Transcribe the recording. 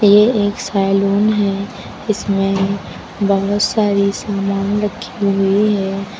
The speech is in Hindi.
ये एक सैलून है। इसमें बहोत सारी सामान रखी हुई हैं।